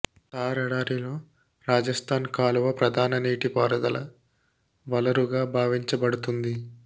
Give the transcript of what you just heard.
థార్ ఎడారిలో రాజస్థాన్ కాలువ ప్రధాన నీటి పారుదల వలరుగా భావించబడుతుంది